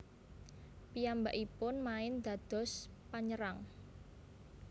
Piyambakipun main dados panyerang